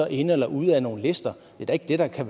inde eller ude af nogle lister det er da ikke det der er